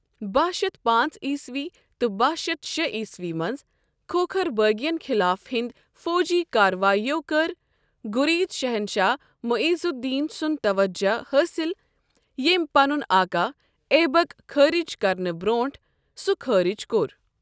باہ شتھ پانٛژعیسوی تہٕ باہ شتھ شےٚ عیسوی منٛز کھوکھر بٲغی ین خِلاف یِہنٛدۍ فوجی کارروٲیو کٔر غورید شہنشاہ معیز الدین سُنٛد توجہ حٲصل ییٚمۍ پنُن آقا ایبک خٲرج کرنہٕ برونٛٹھ سُہ خٲرج کوٚر۔